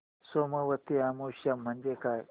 सोमवती अमावस्या म्हणजे काय